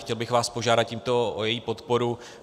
Chtěl bych vás požádat tímto o její podporu.